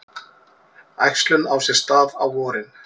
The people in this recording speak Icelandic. Æxlun á sér stað á vorin.